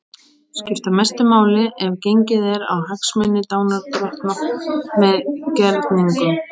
skipta mestu máli ef gengið er á hagsmuni lánardrottna með gerningnum.